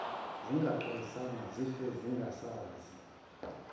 zingaxwayisanga zife esengezansi